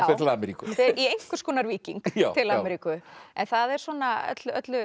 fer til Ameríku já fer í einhvers konar víking til Ameríku en það er svona öllu